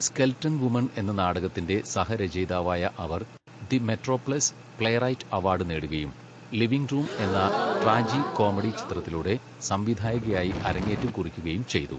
Skeleton woman' എന്ന നാടകത്തിൻ്റെ സഹ രചയിതാവായ അവർ, ദി മെട്രോപ്ലസ് പ്ലേറൈറ്റ് അവാർഡ് നേടുകയും, 'ലിവിംഗ് റൂം' എന്ന ട്രാജിക്കോമെഡി ചിത്രത്തിലൂടെ സംവിധായകയായി അരങ്ങേറ്റം കുറിക്കുകയും ചെയ്തു.